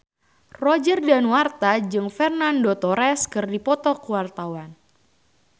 Roger Danuarta jeung Fernando Torres keur dipoto ku wartawan